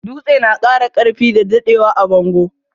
Dutse na kara karfi da daddewa a bango.